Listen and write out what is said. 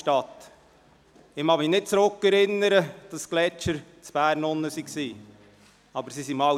Ich kann mich nicht zurückerinnern, dass die Gletscher in Bern waren, aber sie waren es mal.